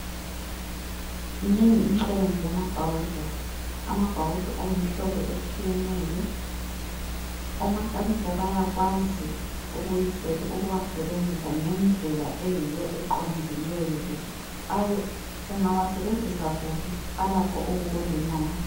Minengi imisebenzi yamabhawudo ,amabhawudo ayimihlobo etshiyeneyo. Omakhanika bayakwazi ukuwasebenzisa ngendlela eyiyo eqondileyo .Ungawasebenzisa kubi alakho ukukulimaza.